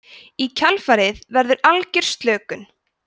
í kjölfarið verður algjör slökun